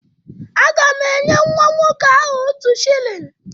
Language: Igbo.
Aga m enye nwa nwoke ahụ otu shilling